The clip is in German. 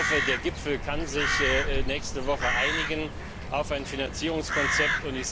Ich hoffe, der Gipfel kann sich nächste Woche einigen auf ein Finanzierungskonzept.